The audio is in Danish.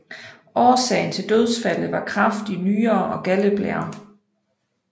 Årsagen til dødsfaldet var kræft i nyrer og galdeblære